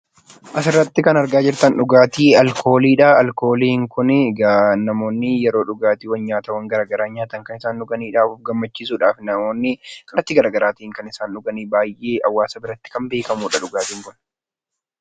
Suuraa kanaa gadii irratti kan argamu dhugaatii alkoolii yammuu ta'u; namoonni nyaata garaa garii erga nyaatanii kan dhuganii fi of gammachiisuuf kan dhugaanii dha.